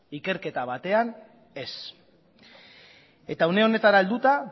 ikerketa batean ez eta une honetara helduta